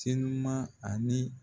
Senuman ani.